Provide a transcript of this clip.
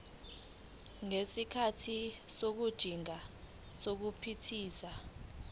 ngesikhathi sokujingana nokuphithiza